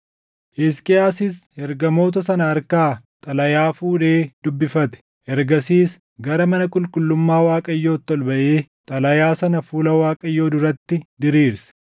Hisqiyaasis ergamoota sana harkaa xalayaa fuudhee dubbifate. Ergasiis gara mana qulqullummaa Waaqayyootti ol baʼee xalayaa sana fuula Waaqayyoo duratti diriirse.